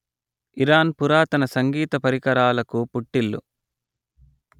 Iran పురాతన సంగీతపరికరాలకు పుట్టిల్లు